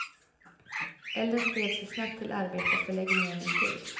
Elden spred sig snabbt till arbetarförläggningen intill.